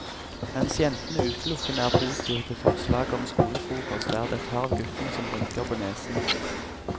Mens jentene utelukkende er positive til forslaget om skolefrokost, er det et par av guttene som rynker på nesen.